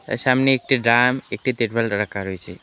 এর সামনে একটি ড্রাম একটি তেরপাল রা-রাখা রয়েছে।